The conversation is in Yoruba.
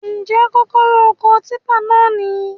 Njẹ kọ́kọ́rọ́ ọkọ̀ típà náà níyì?